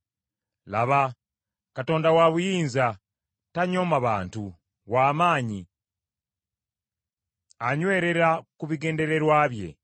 “Laba, Katonda wa buyinza, tanyooma bantu; w’amaanyi, anywerera ku bigendererwa bye.